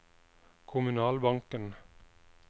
kommunalbanken